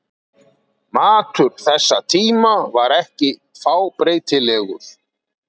Matur þessa tíma var ekki fábreytilegur.